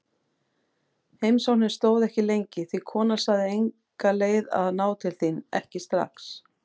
Heimsóknin stóð ekki lengi því konan sagði enga leið að ná til þín, ekki strax.